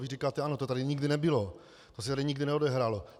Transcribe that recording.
Vy říkáte ano, to tady nikdy nebylo, to se tady nikdy neodehrálo.